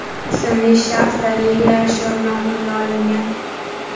ismli shaxs daliliy ashyo bilan qo‘lga olingan.